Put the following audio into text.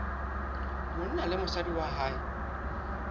monna le mosadi wa hae